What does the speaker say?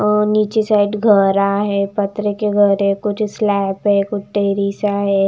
अ नीचे साइड घरा है पत्थरे के घर है कुछ स्लैप है कुछ टेरेस आ है।